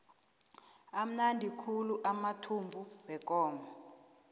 amnandi khulu amathumbu wekomo